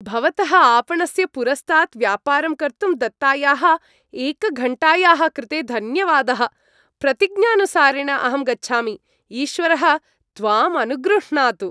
भवतः आपणस्य पुरस्तात् व्यापारं कर्तुं दत्तायाः एकघण्टायाः कृते धन्यवादः। प्रतिज्ञानुसारेण अहं गच्छामि, ईश्वरः त्वाम् अनुगृह्णातु। (विक्रेता)